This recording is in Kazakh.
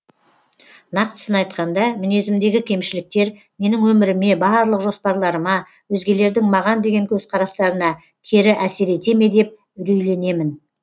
нақтысын айтқанда міңезімдегі кемшіліктер менің өміріме барлық жоспарларыма өзгелердің маған деген көзқарастарына кері әсер ете ме деп үрейленемін